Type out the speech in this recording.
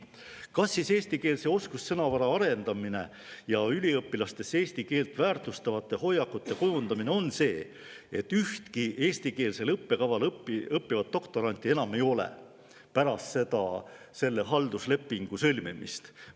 Kas siis eestikeelse oskussõnavara arendamine ja üliõpilastes eesti keelt väärtustavate hoiakute kujundamine on see, et ühtegi eestikeelsel õppekaval õppivat doktoranti enam ei ole pärast selle halduslepingu sõlmimist?